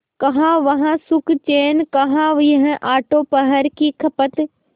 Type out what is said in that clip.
कहाँ वह सुखचैन कहाँ यह आठों पहर की खपत